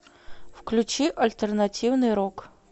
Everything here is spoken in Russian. включи альтернативный рок